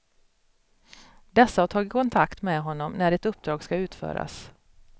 Dessa har tagit kontakt med honom när ett uppdrag skall utföras.